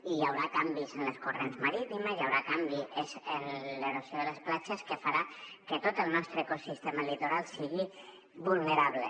i hi haurà canvis en els corrents marítims i hi haurà canvis en l’erosió de les platges que faran que tot el nostre ecosistema litoral sigui vulnerable